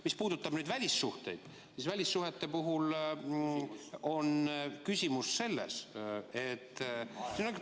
Mis puudutab välissuhteid, siis välissuhete puhul on ...... küsimus selles, et ......